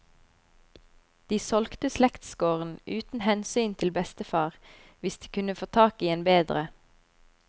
De solgte slektsgården, uten hensyn til bestefar, hvis de kunne få tak i en bedre.